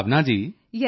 ਭਾਵਨਾ ਯੇਸ ਸਿਰ